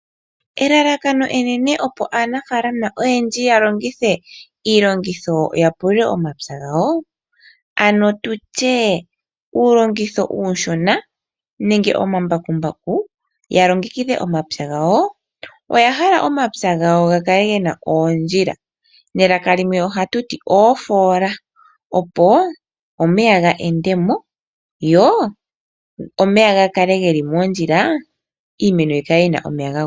Elalakano enene opo aanafaalama ya longithe iilongitho ya pulule omapya gawo, ano uulongitho uushona nenge omambakumbaku ya longekidhe omapya gawo, oya hala omapya gawo ga kale ge na oondjila niitya yimwe ohatu ti oofoola, opo omeya ga kuunguluke mo, ga kale ge li moondjila, opo iimeno yi kale yi na omeya ga gwana.